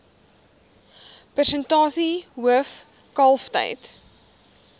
persentasie hoof kalftyd